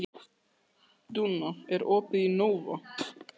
Dúnna, er opið í Nova?